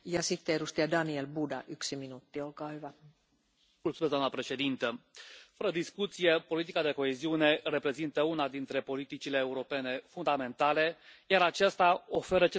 Doamna președintă, fără discuție, politica de coeziune reprezintă una dintre politicile europene fundamentale, iar aceasta oferă cele mai bune instrumente de punere în aplicare a economiei circulare.